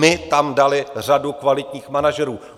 My tam dali řadu kvalitních manažerů.